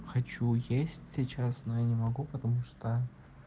хочу есть сейчас но я не могу потому что